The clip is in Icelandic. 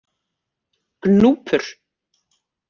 Gnúpur